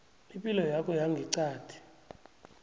ipilo yakho yangeqadi